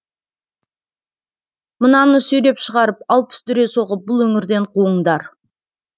мынаны сүйреп шығарып алпыс дүре соғып бұл өңірден қуыңдар